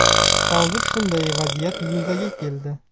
Hozir shunday vaziyat yuzaga keldi.